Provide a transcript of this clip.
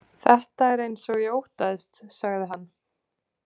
Þetta er eins og ég óttaðist, sagði hann.